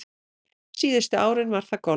Síðustu árin var það golfið.